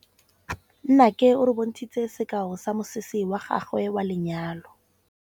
Nnake o re bontshitse sekaô sa mosese wa gagwe wa lenyalo.